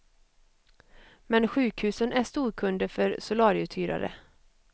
Men sjukhusen är storkunder för solarieuthyrare.